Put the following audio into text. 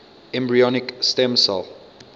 embryonic stem cell